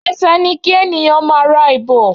Ẹsẹ ni kí ènìyàn máá ra ìbò